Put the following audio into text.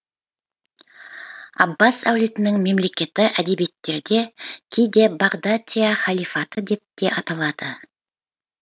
аббас әулетінің мемлекеті әдебиеттерде кейде бағдатяхалифаты деп те аталады